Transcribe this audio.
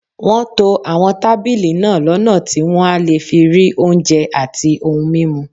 Wọ́n to àwọn tábìlì náà lọ́nà tí wọ́n á fi lè rí oúnjẹ àti ohun mímu